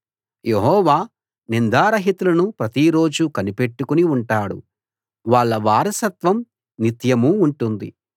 యెహోవా నిందారహితులను ప్రతిరోజూ కనిపెట్టుకుని ఉంటాడు వాళ్ళ వారసత్వం నిత్యమూ ఉంటుంది